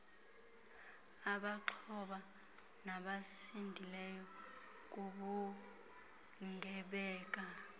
abaxhoba nabasindileyo kubugebenga